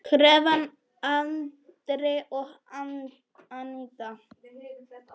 Hrefna, Andri og Aníta.